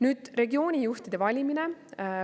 Nüüd, regioonijuhtide valimine.